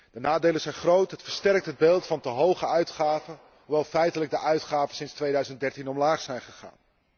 De nadelen zijn groot, het versterkt het beeld van te hoge uitgaven, hoewel feitelijk de uitgaven sinds 2013 omlaag zijn gegaan.